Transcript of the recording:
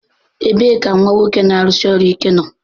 Ebee ka nwa nwoke na-arụsi ọrụ ike nọ?